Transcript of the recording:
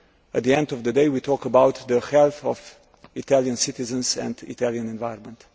hope. At the end of the day, we are talking about the health of Italian citizens and the Italian environment.